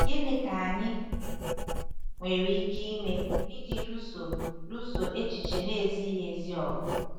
Gịnị ka anyị nwere ike ime iji lụso lụso echiche na-ezighị ezi ọgụ?